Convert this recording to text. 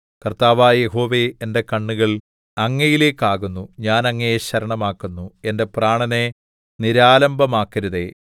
കർത്താവായ യഹോവേ എന്റെ കണ്ണുകൾ അങ്ങയിലേക്കാകുന്നു ഞാൻ അങ്ങയെ ശരണമാക്കുന്നു എന്റെ പ്രാണനെ നിരാലംബമാക്കരുതേ